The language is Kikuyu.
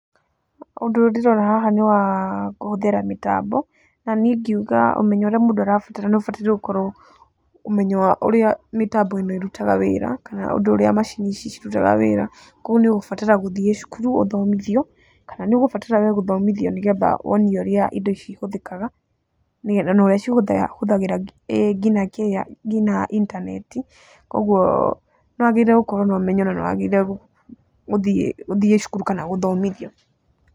Ũndũ ndĩrona haha nĩ wa kũhũthĩra mĩtambo na nĩi ingiuga ũmenyo ũrĩa mũndũ arabatara nĩ ũbataire gũkorwo ũmenyo wa ũrĩa mĩtambo ĩno ĩrutaga wĩra, kana ũndũ ũrĩa macini ici cirutaga wĩra, kogwo nĩ ũgũbatara gũthiĩ cukuru ũthomithio, kana nĩ ũgũbatara we gũthomithio, nĩgetha wonio ũrĩa indo ici ihũthĩkaga, nĩgetha na ũrĩa cihũthagĩra nginya intaneti, kogwo nĩ wagĩrĩire gũkorwo na ũmenyo, nĩ wagĩrĩirwo ũthiĩ cukuru kana ũthomithio.